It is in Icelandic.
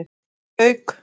Þeir voru auk